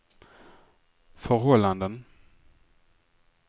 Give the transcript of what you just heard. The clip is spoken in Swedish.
förhållanden